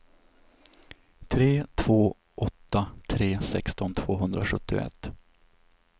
tre två åtta tre sexton tvåhundrasjuttioett